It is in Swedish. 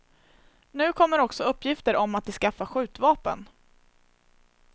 Nu kommer också uppgifter om att de skaffar skjutvapen.